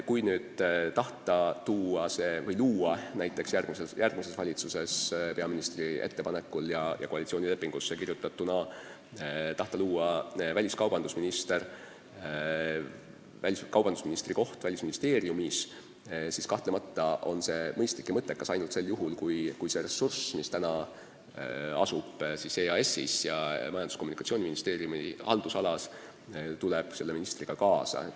Kui tahta luua järgmises valitsuses peaministri ettepanekul ja koalitsioonilepingusse kirjutatuna väliskaubandusministri koht Välisministeeriumis, siis kahtlemata on see mõistlik ja mõttekas ainult juhul, kui see ressurss, mida praegu käsutab EAS Majandus- ja Kommunikatsiooniministeeriumi haldusalas, tuleb selle ministriga kaasa.